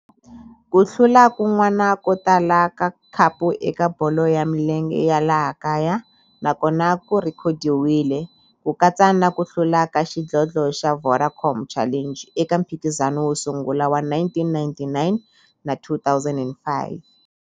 Ku hlula kun'wana ko tala ka khapu eka bolo ya milenge ya laha kaya na kona ku rhekhodiwile, ku katsa na ku hlula ka xidlodlo xa Vodacom Challenge eka mphikizano wo sungula wa 1999 na 2005.